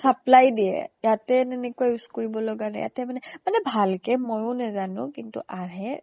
supply দিয়ে। ইয়াতে তেনেকুৱা use কৰিব লগা নাই। ইয়াতে মানে মানে ভাল কে ময়ো নেজানো, কিন্তু আহে